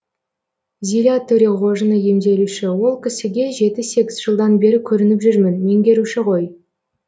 зиля төреғожина емделуші ол кісіге жеті сегіз жылдан бері көрініп жүрмін меңгеруші ғой